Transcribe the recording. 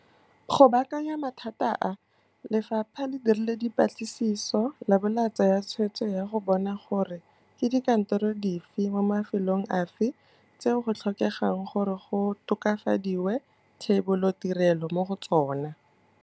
Go baakanya mathata a, Lefapha le dirile dipatlisiso labo la tsaya tshwetso ya go bona gore ke dikantoro dife mo mafelong afe tseo go tlhokegang gore go tokafadiwe thebolotirelo mo go tsona.